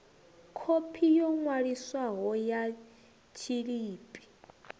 khophi yo ṅwaliswaho ya tshiḽipi